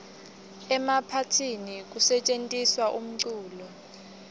emaphathini kusetjentiswa umculo